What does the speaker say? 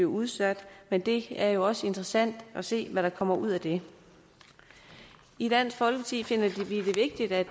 udsat men det er jo også interessant at se hvad der kommer ud af det i dansk folkeparti finder vi det vigtigt at